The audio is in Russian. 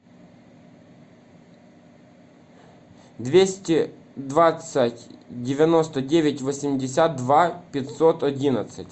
двести двадцать девяносто девять восемьдесят два пятьсот одиннадцать